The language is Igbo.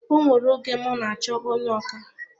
O nwere oge m n'achọ onye ọkà